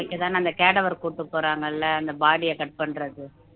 போறாங்கல்ல அந்த body அ cut பண்றது